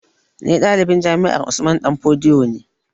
Ni ɗalibin jami'ar Usman danfodiyo ne